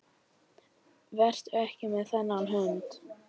Vertu ekki með þennan hund.